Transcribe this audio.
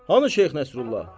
Hanı Şeyx Nəsrullah?